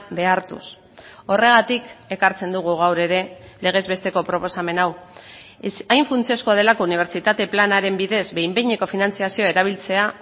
behartuz horregatik ekartzen dugu gaur ere legez besteko proposamen hau hain funtsezkoa delako unibertsitate planaren bidez behin behineko finantzazioa erabiltzea